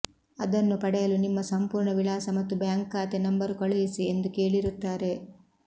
ಅದನ್ನು ಪಡೆಯಲು ನಿಮ್ಮ ಸಂಪೂರ್ಣ ವಿಳಾಸ ಮತ್ತು ಬ್ಯಾಂಕ್ ಖಾತೆ ನಂಬರ್ ಕಳುಹಿಸಿ ಎಂದು ಕೇಳಿರುತ್ತಾರೆ